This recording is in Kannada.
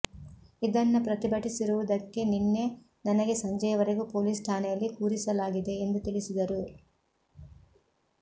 ಇದನ್ನ ಪ್ರತಿಭಟಿಸಿರುವುದಕ್ಕೆ ನಿನ್ನೆ ನನಗೆ ಸಂಜೆ ವರೆಗೂ ಪೊಲೀಸ್ ಠಾಣೆಯಲ್ಲಿ ಕೂರಿಸಲಾಗಿದೆ ಎಂದು ತಿಳಿಸಿದರು